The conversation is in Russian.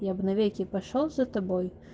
я б навеки пошёл за тобой